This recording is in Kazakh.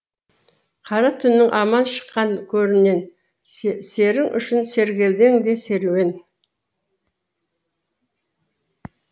қара түннің аман шыққан көрінен серің үшін сергелдең де серуен